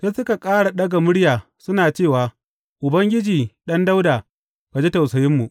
Sai suka ƙara ɗaga murya suna cewa, Ubangiji, Ɗan Dawuda, ka ji tausayinmu!